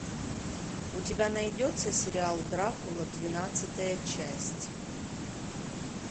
у тебя найдется сериал дракула двенадцатая часть